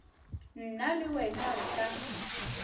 nna le wena re ka